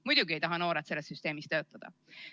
Muidugi ei taha noored selles süsteemis töötada.